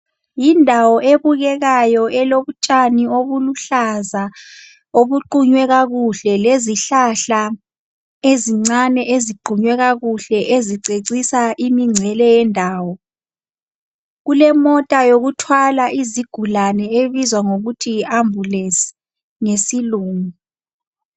Yindawo ebukekayo elotshani obuluhlaza obuqunywe kakuhle, lezihlahla ezincane eziqunywe kakuhle ezicecisa imingcele yendawo. Kulemota yokuthwala izigulane ebizwa ngokuthi yi ambulance ngesilungu.